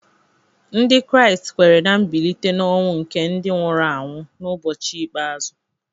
Ndị Kraịst kweere ná mbilite n’ọnwụ nke ndị nwụrụ anwụ n’ụbọchị ikpeazụ